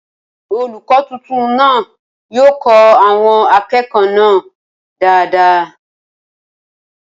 Olùkọ́ tuntun náà yóò kọ́ àwọn akẹ́kọ̀ọ́ náà dáadáa